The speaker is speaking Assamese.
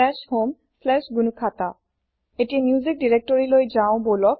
homegnuhata এতিয়া মিউচ্যিক দিৰেক্তৰিলৈ যাও বলক